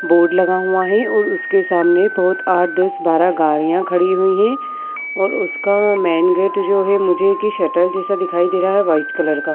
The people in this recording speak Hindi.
बोर्ड लगा हुआ हैं और उसके सामने बोहोत आठ दस बारह गाड़ियां खड़ी हुई हैं और उसका मेन गेट जो हैं मुझे है की शटर जैसा दिखाई दे रहा है व्हाइट कलर का।